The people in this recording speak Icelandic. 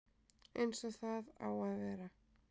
Eins og það á að vera